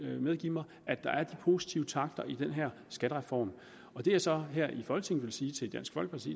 vil medgive mig at der er de positive takter i den her skattereform det jeg så her i folketinget vil sige til dansk folkeparti